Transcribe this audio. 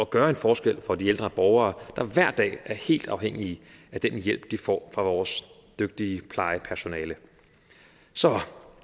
gøre en forskel for de ældre borgere der hver dag er helt afhængige af den hjælp de får af vores dygtige plejepersonale så